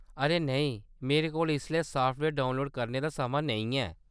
अरे नेईं, मेरे कोल इसलै साफ्टवेयर डाउनलोड करने दा समां नेईं ऐ।